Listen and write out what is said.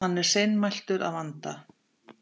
Hann er seinmæltur að vanda.